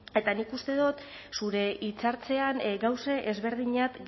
eta nik uste dut zure hitzaldian gauza ezberdinak